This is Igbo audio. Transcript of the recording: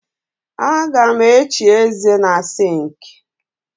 Aga m echi ézē na sịnkị